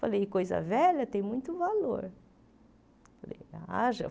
Falei, coisa velha tem muito valor.